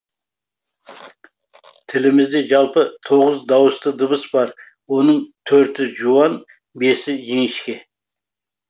тілімізде жалпы тоғыз дауысты дыбыс бар оның төрті жуан бесі жіңішке